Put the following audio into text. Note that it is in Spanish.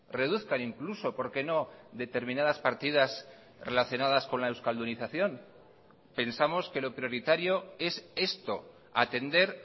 reduzcan incluso por qué no determinadas partidas relacionadas con la euskaldunización pensamos que lo prioritario es esto atender